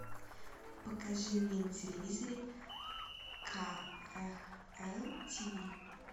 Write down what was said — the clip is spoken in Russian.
покажи мне на телевизоре кхл тв